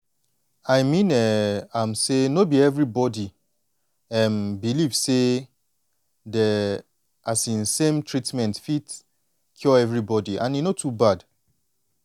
i mean um am say no be everybody um believe say de um same treatment fit cure everybody and e no too bad